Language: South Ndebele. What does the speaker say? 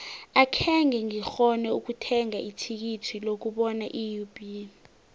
akhenge ngikghone ukuthenga ithikithi lokubona iub